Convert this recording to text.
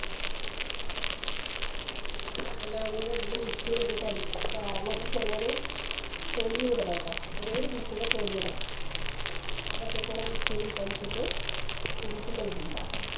എല്ലാം കൂടെ ഇട്ടിട്ട് Mix ൽ ഇട്ടിട്ട് അടിക്ക നാരങ്ങന്നെ ചെറിയൊരു തൊലിയു ഇടണട്ടോ ചെറിയൊരു Piece ൻറെ തൊലി ഇടണം ഇതൊക്കെക്കൂടെ Mix ൽ ഇട്ട് അടിച്ചിട്ട് നമുക്ക് Lime ഇണ്ടാക്കാം